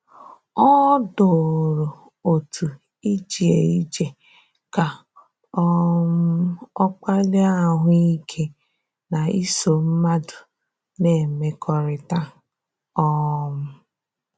Ọ dòrò òtù ije ije ka um ọ kpaliè ahụ̀ ike na isò mmadụ na-emekọrịta. um